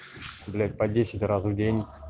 блять по десять раз в день